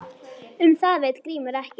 Um það veit Grímur ekkert.